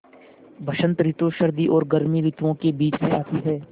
बसंत रितु सर्दी और गर्मी रितुवो के बीच मे आती हैँ